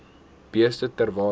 beeste ter waarde